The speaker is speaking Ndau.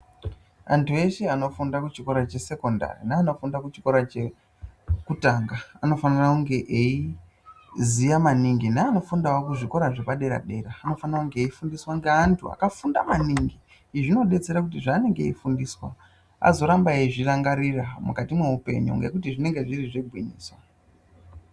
Antu eshe anofunda kuchikora chesekondari neanofunda kuchikora chekutanga anofanira kunge eiziya maningi. Neano fundawo kuzvikora zvepadera dera anofa kunge eifundiswa ngeantu akafunda maningi zvinodetsera kuti zvanenge eifundiswa azoramba eizvirangarira mukati mweupenyu ngekuti zvinenge zviri zvegwinyiso.